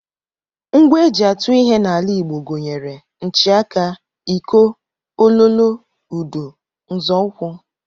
Ngwa e ji atụ ihe n'ala Igbo gụnyere nchịaka, iko, Ololo, udu, nzọụkwụ